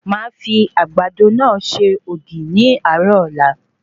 Màá fi Àgbàdo náà se ògì ní àárò Ọ̀la